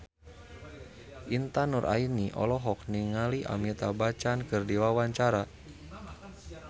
Intan Nuraini olohok ningali Amitabh Bachchan keur diwawancara